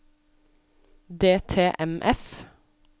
DTMF